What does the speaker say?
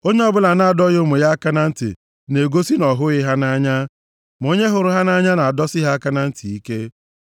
Onye ọbụla na-adọghị ụmụ ya aka na ntị, na-egosi na ọ hụghị ha nʼanya; ma onye hụrụ ha nʼanya, ga-adọsi ha aka na ntị ike.